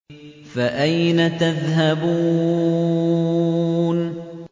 فَأَيْنَ تَذْهَبُونَ